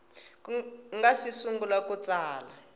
nga si sungula ku tsala